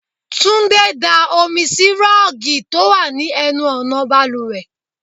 Túndé da omi sì rọ́ọ̀gì tó wà ní ẹnu ọ̀nà bàlùwẹ̀.